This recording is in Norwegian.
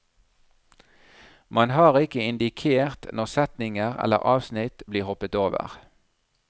Man har ikke indikert når setninger eller avsnitt blir hoppet over.